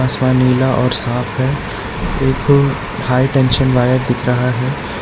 आसमान नीला और सांफ है एक हाईटेंशन वायर दिख रहा है।